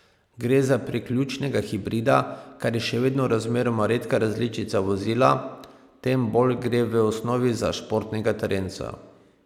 Gre za priključnega hibrida, kar je še vedno razmeroma redka različica vozila, tem bolj gre v osnovi za športnega terenca.